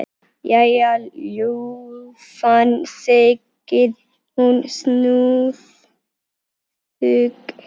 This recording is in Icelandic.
Jæja, ljúfan, segir hún snúðug.